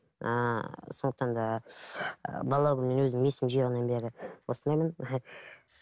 ііі сондықтан да ы бала күнімнен өзім есім жиғаннан бері осындаймын